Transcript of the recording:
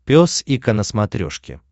пес и ко на смотрешке